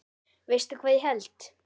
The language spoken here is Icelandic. Veistu hvað ég held?